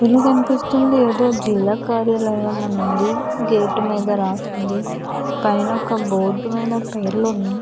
ఈ ఫోటో లో కనిపిస్తుంది ఏదో జిల్లా కార్యాలయం అని ఉంది. గేట్ మీద రాసి ఉంది. పైన ఒక బోర్డు మీద పేర్లు ఉన్నాయ్.